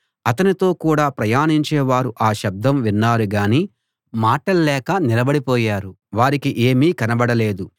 అతనితో కూడా ప్రయాణించే వారు ఆ శబ్దం విన్నారు గాని మాటల్లేక నిలబడిపోయారు వారికి ఏమీ కనబడలేదు